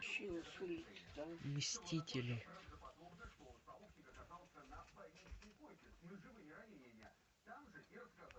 мстители